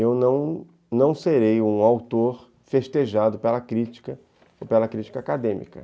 Eu não não serei um autor festejado pela crítica ou pela crítica acadêmica.